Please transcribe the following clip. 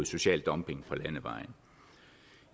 social dumping på landevejene